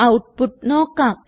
output നോക്കാം